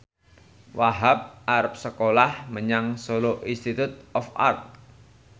Wahhab arep sekolah menyang Solo Institute of Art